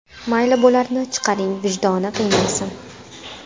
Mayli, bularni chiqaring, vijdoni qiynalsin.